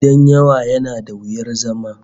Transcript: Gidan yawa yana da wuyar zama